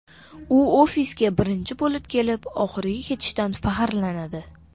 U ofisga birinchi bo‘lib kelib, oxiri ketishidan faxrlanadi.